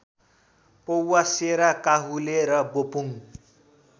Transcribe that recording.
पौवासेरा काहुले र बोपुङ